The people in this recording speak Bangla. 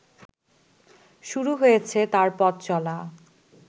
শুরু হয়েছে তার পথ চলা